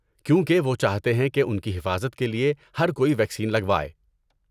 کیونکہ وہ چاہتے ہیں کہ ان کی حفاظت کے لیے ہر کوئی ویکسین لگوائے۔